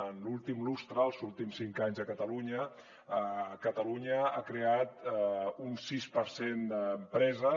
en l’últim lustre els últims cinc anys a catalunya catalunya ha creat un sis per cent d’empreses